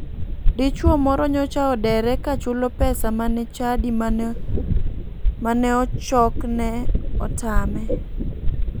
Dichuo moro nyocha odere ka chulo pesa mane chadi mane ochokne otame.